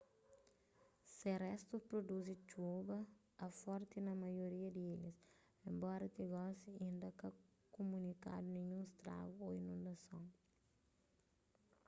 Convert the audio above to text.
se restus pruduzi txub a forti na maioria di ilhas enbora ti gosi inda ka kumunikadu ninhun stragu ô inundason